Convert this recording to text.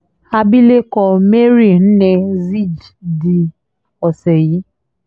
abilékọ mary nnea zijdee ọ̀sẹ̀ yìí